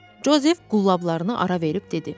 Jozef qullablarını ara verib dedi: